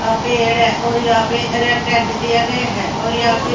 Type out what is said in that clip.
अ पेड़ है और यहां पे रेड टेंट दिया गया है और यहां पे--